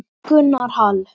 Gunnar Hall.